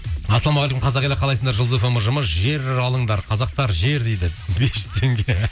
ассалаумағалейкум қазақ елі қалайсыңдар жұлдыз фм ұжымы жер алыңдар қазақтар жер дейді бес жүз теңге